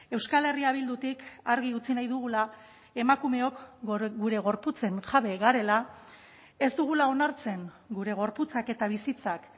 euskal herria bildutik argi utzi nahi dugula emakumeok gure gorputzen jabe garela ez dugula onartzen gure gorputzak eta bizitzak